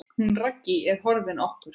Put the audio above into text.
Hún Raggý er horfin okkur.